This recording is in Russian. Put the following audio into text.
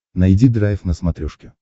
найди драйв на смотрешке